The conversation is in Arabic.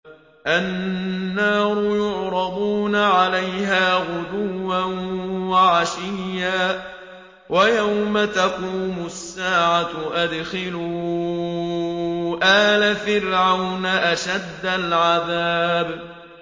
النَّارُ يُعْرَضُونَ عَلَيْهَا غُدُوًّا وَعَشِيًّا ۖ وَيَوْمَ تَقُومُ السَّاعَةُ أَدْخِلُوا آلَ فِرْعَوْنَ أَشَدَّ الْعَذَابِ